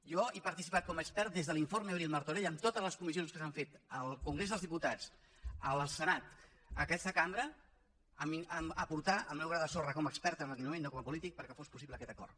jo he participat com a expert des de l’informe abril martorell en totes les comissions que s’han fet al congrés dels diputats al senat en aquesta cambra a aportar el meu gra de sorra com a expert en aquell moment no com a polític perquè fos possible aquest acord